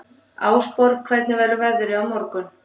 Ásborg, hvernig verður veðrið á morgun?